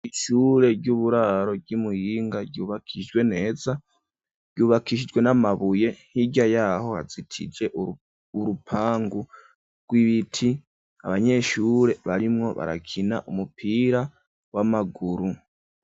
Ishure ry'uburaro ry'Imuyinga ryubakijwe neza, ryubakishijwe n'amabuye hirya yaho hazitije urupangu rw'ibiti ,abanyeshure barimwo barakina umupira w'amaguru.